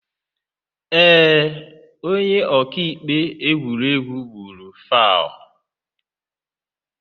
Ee, onye ọka ikpe egwuregwu gburu fauu.